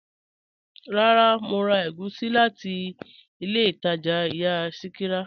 Rárá, Mo rà ègúsì láti ilẹ̀ Ìtaja ìyà Sikira.